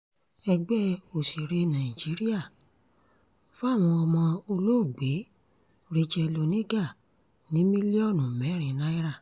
ẹgbẹ́ òsèré nàìjíríà fáwọn ọmọ olóògbé racheal oníga ní mílíọ̀nù mẹ́rin náírà